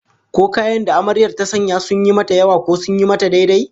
Ko kayan da Amaryar ta sanya sun yi mata yawa, ko sun yi mata daidai?